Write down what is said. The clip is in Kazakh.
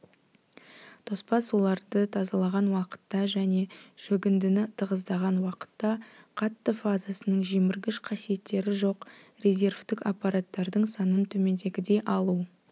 тоспа суларды тазалаған уақытта және шөгіндіні тығыздаған уақытта қатты фазасының жеміргіш қасиеттері жоқ резервтік аппараттардың санын төмендегідей алу